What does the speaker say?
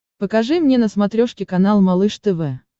покажи мне на смотрешке канал малыш тв